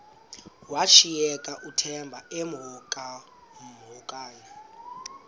washiyeka uthemba emhokamhokana